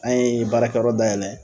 An ye baarakɛyɔrɔ dayɛlɛ.